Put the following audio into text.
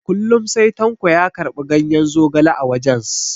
Kullum sai tanko ya karɓi ganyen zogale a wajens.